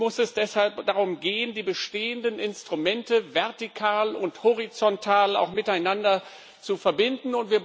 Nun muss es deshalb darum gehen, die bestehenden Instrumente vertikal und horizontal miteinander zu verbinden.